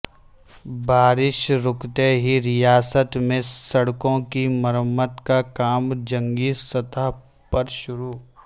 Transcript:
بارش رکتے ہی ریاست میں سڑکوں کی مرمت کا کام جنگی سطح پر شروع